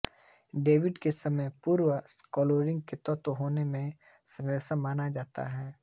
Davy के समय के पूर्व क्लोरीन के तत्व होने में संदेह माना जाता था